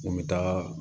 N bɛ taaga